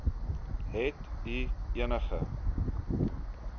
het u enige